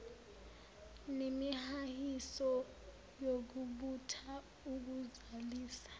nemihahiso yokubutha ukuzalisa